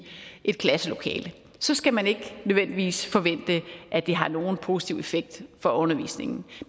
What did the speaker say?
et klasselokale så skal man ikke nødvendigvis forvente at det har nogen positiv effekt for undervisningen